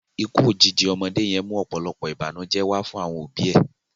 Ikú òjijì ọmọdé yẹn mú ọ̀pọ̀lọpọ̀ ìbànújẹ́ wá fún àwọn òbi ẹ̀